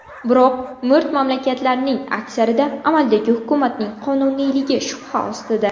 Biroq mo‘rt mamlakatlarning aksarida amaldagi hukumatning qonuniyligi shubha ostida.